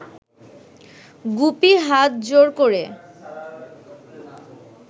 গুপি হাত জোড় ক’রে